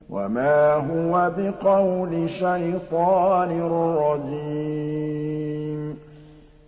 وَمَا هُوَ بِقَوْلِ شَيْطَانٍ رَّجِيمٍ